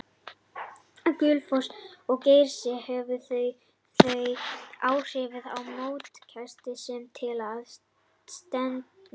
Gullfoss og Geysir höfðu þau áhrif á mótsgesti sem til var stefnt.